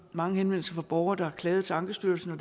mange henvendelser fra borgere der har klaget til ankestyrelsen og